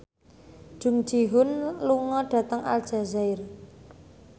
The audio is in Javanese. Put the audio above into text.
Jung Ji Hoon lunga dhateng Aljazair